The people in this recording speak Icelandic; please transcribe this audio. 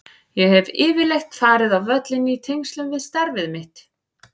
Ég hef yfirleitt farið á völlinn í tengslum við starf mitt.